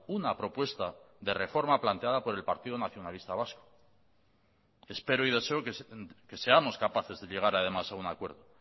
una propuesta de reforma planteada por el partido nacionalista vasco espero y deseo que seamos capaces de llegar además a un acuerdo